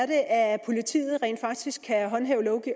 det er at politiet rent faktisk kan håndhæve